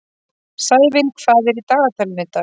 Sævin, hvað er í dagatalinu í dag?